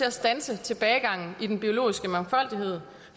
at standse tilbagegangen i den biologiske mangfoldighed